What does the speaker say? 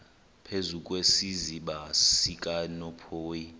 phezu kwesiziba sikanophoyi